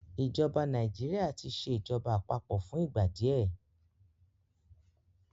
ìjọba Nàìjíríà tí ṣe ìjọba àpapọ̀ fún ìgbà díẹ